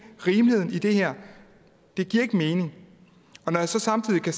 rimeligheden i det her det giver ikke mening og når jeg så samtidig kan